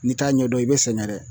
N'i t'a ɲɛdɔn i bɛ sɛgɛn dɛ.